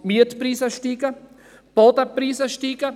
– Die Mietpreise steigen, die Bodenpreise steigen.